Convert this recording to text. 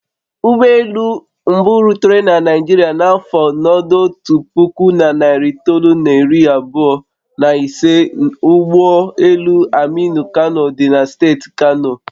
Ụgbọ elu mbụ rutere na Naijiria n'afọ n'ọdotu puku na narị itoolu na iri abụọ na ise ụ ụgbọ elu aminu kano dị na steeti kano